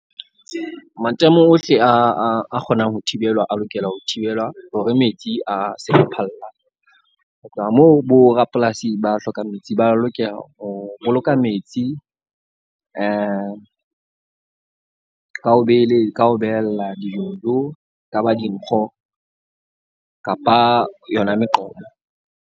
Matamo ohle a kgonang ho thibelwa a lokela ho thibelwa hore metsi a se phallang. Ho tloha moo borapolasi ba hlokang metsi ba lokela ho boloka metsi ka ho ka o behella dijojo kaba dinkgo kapa yona meqomo.